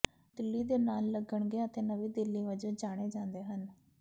ਦਿੱਲੀ ਦੇ ਨਾਲ ਲੱਗਣਗੇ ਅਤੇ ਨਵੀਂ ਦਿੱਲੀ ਵਜੋਂ ਜਾਣੇ ਜਾਂਦੇ ਹਨ